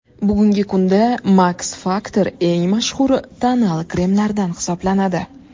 Bugungi kunda Max Factor eng mashhur tonal kremlardan hisoblanadi.